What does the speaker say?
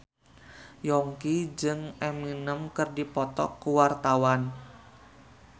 Yongki jeung Eminem keur dipoto ku wartawan